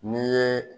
N'i ye